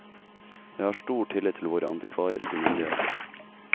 Jeg har stor tillit til våre antikvariske myndigheter.